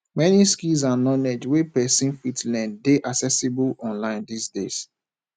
many skills and knowledge wey persin fit learn de accessible online dis days